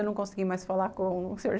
Eu não consegui mais falar com o Sr.